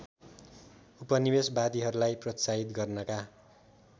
उपनिवेशवादीहरूलाई प्रोत्साहित गर्नका